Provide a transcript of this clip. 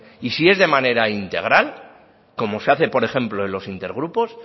y si es de manera integral como se hace por ejemplo en los intergrupos